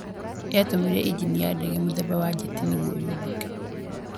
yatũmĩrire injini ya ndege mũthemba wa njeti nĩguo yambuke